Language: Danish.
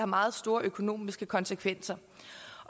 meget store økonomiske konsekvenser